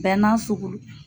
Bɛɛ n'a sugu lo.